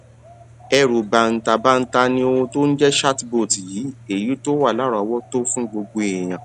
ẹrù bàǹtàbanta ni ohun tó ń jé chatbot yìí èyí tó wà láròówótó fún gbogbo èèyàn